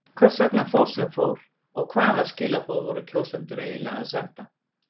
Hvers vegna fór sem fór og hvaða skilaboð voru kjósendur eiginlega að senda?